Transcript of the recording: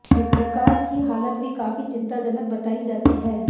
विकास की हालत भी काफी चिंताजनक बताई जाती है